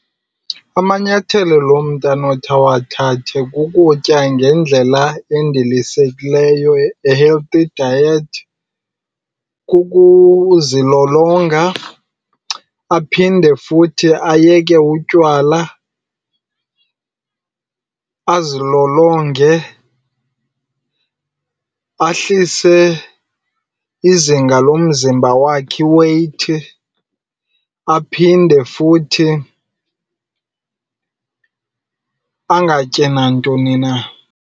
Amanyathelo loo mntu anothi awathathe kukutya ngendlela endilisekileyo, a healthy diet. Kukuzilolonga aphinde futhi ayeke utywala azilolonge, ahlise izinga lomzimba wakhe, iweyithi, aphinde futhi angatyi nantoni na.